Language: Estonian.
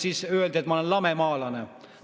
Siis öeldi, et ma olen lamemaalane.